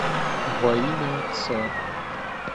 во имя отца